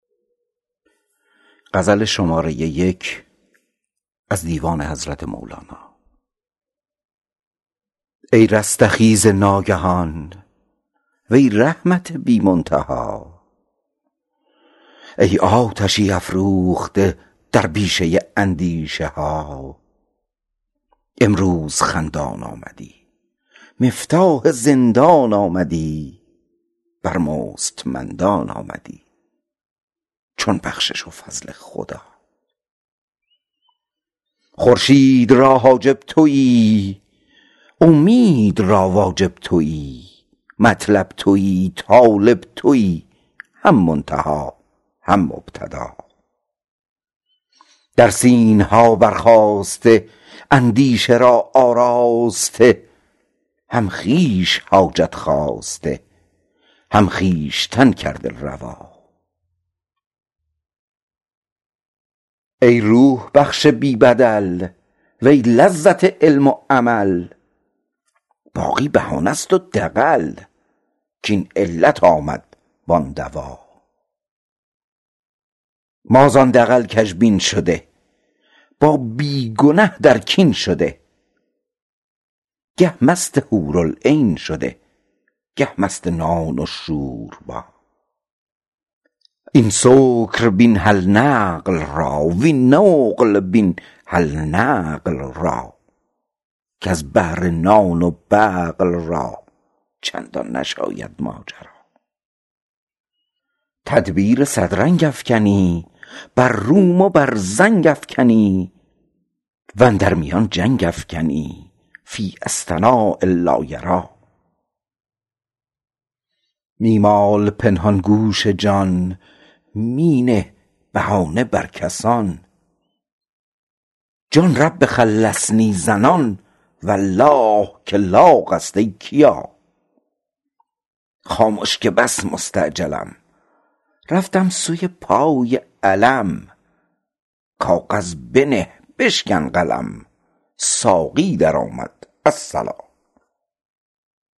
ای رستخیز ناگهان وی رحمت بی منتها ای آتشی افروخته در بیشه اندیشه ها امروز خندان آمدی مفتاح زندان آمدی بر مستمندان آمدی چون بخشش و فضل خدا خورشید را حاجب تویی اومید را واجب تویی مطلب تویی طالب تویی هم منتها هم مبتدا در سینه ها برخاسته اندیشه را آراسته هم خویش حاجت خواسته هم خویشتن کرده روا ای روح بخش بی بدل وی لذت علم و عمل باقی بهانه ست و دغل کاین علت آمد وان دوا ما زان دغل کژبین شده با بی گنه در کین شده گه مست حورالعین شده گه مست نان و شوربا این سکر بین هل عقل را وین نقل بین هل نقل را کز بهر نان و بقل را چندین نشاید ماجرا تدبیر صد رنگ افکنی بر روم و بر زنگ افکنی و اندر میان جنگ افکنی فی اصطناع لا یری می مال پنهان گوش جان می نه بهانه بر کسان جان رب خلصنی زنان والله که لاغ است ای کیا خامش که بس مستعجلم رفتم سوی پای علم کاغذ بنه بشکن قلم ساقی درآمد الصلا